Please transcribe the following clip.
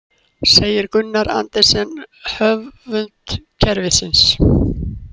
Segir Gunnar Andersen höfund kerfisins